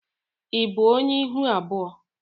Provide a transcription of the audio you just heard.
i bụ ọnye ịhụ abụọ?